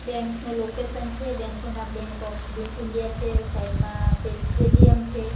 Bank નું location છે bank નું નામ બેંક ઓફ બે ઈન્ડિયા છે સાઈડમાં પે એ_ટી_એમ છે.